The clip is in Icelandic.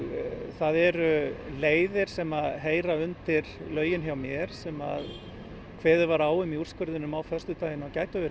það eru leiðir sem að heyra undir lögin hjá mér sem að kveðið var á um úrskurðinn á föstudaginn að gætu verið